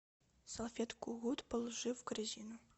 салфетку гуд положи в корзину